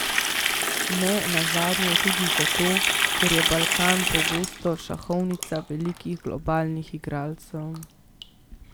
Ne nazadnje tudi zato, ker je Balkan pogosto šahovnica velikih globalnih igralcev.